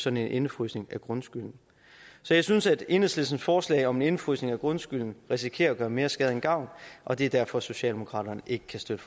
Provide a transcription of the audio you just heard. en indefrysning af grundskylden så jeg synes at enhedslistens forslag om en indefrysning af grundskylden risikerer at gøre mere skade end gavn og det er derfor socialdemokraterne ikke kan støtte